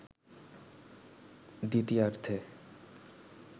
দ্বিতীয়ার্ধে